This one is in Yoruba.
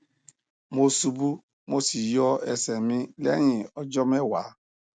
mo ṣubu mo sì yọ ẹsẹ mi lẹyìn ọjọ mẹwàá